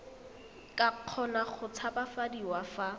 ka kgona go tshabafadiwa fa